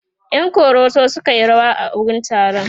ƴan koroso sukayi rawa a wurin taron